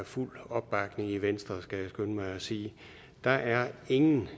fuld opbakning i venstre skal jeg skynde mig at sige der er ingen